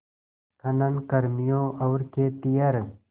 खनन कर्मियों और खेतिहर